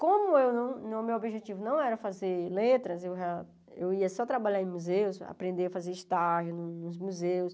Como eu não não o meu objetivo não era fazer letras, eu já eu ia só trabalhar em museus, aprender a fazer estágio nos museus.